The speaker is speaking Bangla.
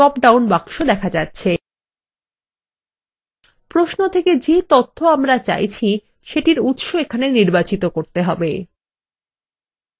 প্রশ্ন থেকে যে তথ্য আমরা চাইছি সেটির উত্স এখানে নির্বাচিত করতে হবে